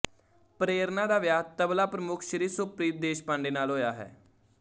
ਪ੍ਰੇਰਨਾ ਦਾ ਵਿਆਹ ਤਬਲਾ ਪ੍ਰਮੁੱਖ ਸ਼੍ਰੀ ਸੁਪ੍ਰੀਤ ਦੇਸ਼ਪਾਂਡੇ ਨਾਲ ਹੋਇਆ ਹੈ